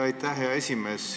Aitäh, hea esimees!